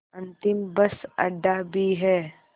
अंतिम बस अड्डा भी है